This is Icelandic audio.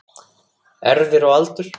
Erfðir og aldur